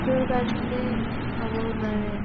তোৰ কাৰণে একো খাবও নোৱাৰে